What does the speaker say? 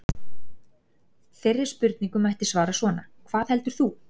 Þeirri spurningu mætti svara svona: Hvað heldur þú?